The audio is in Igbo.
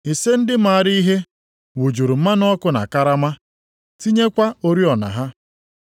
Ise ndị maara ihe, wụjuru mmanụ ọkụ na karama, tinyekwa oriọna ha.